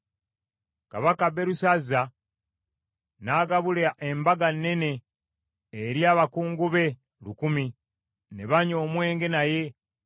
Kabaka Berusazza n’agabula embaga nnene eri abakungu be lukumi, ne banywa omwenge naye.